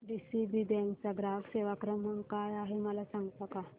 DCB bank चा ग्राहक सेवा क्रमांक काय आहे मला सांगता का